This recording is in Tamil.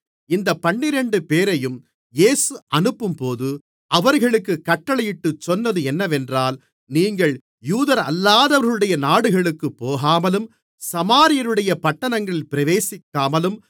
இந்தப் பன்னிரண்டுபேரையும் இயேசு அனுப்பும்போது அவர்களுக்குக் கட்டளையிட்டுச் சொன்னது என்னவென்றால் நீங்கள் யூதரல்லாதவர்களுடைய நாடுகளுக்குப் போகாமலும் சமாரியருடைய பட்டணங்களில் பிரவேசிக்காமலும்